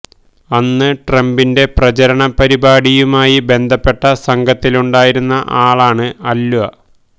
അന്ന് ട്രംപിന്റെ പ്രചരണ പരിപാടിയുമായി ബന്ധപ്പെട്ട സംഘത്തിലുണ്ടായിരുന്ന ആളാണ് അല്വ